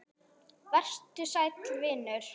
Vertu sæll, vinur.